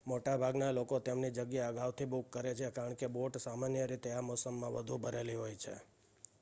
મોટાભાગના લોકો તેમની જગ્યા અગાઉથી બુક કરે છે કારણ કે બોટ સામાન્ય રીતે આ મોસમમાં વધુ ભરેલી હોય છે